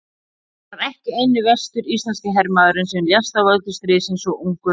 Hann var ekki eini vestur-íslenski hermaðurinn sem lést af völdum stríðsins svo ungur að árum.